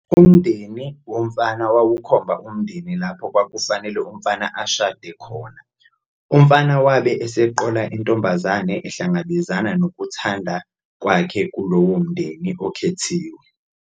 Umndeni womfana wawukhomba umndeni lapho kwakufanele umfana ashade khona. Umfana wabe eseqola intombazane ehlangabezana nokuthanda kwakhe kulowo mndeni okhethiwe.